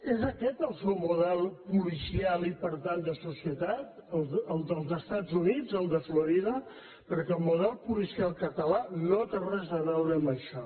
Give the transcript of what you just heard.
és aquest el seu model policial i per tant de societat el dels estats units el de florida perquè el model policial català no té res a veure amb això